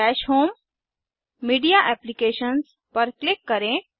दश home media apps पर click करें